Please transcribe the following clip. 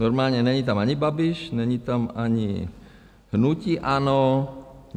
Normálně není tam ani Babiš, není tam ani hnutí ANO.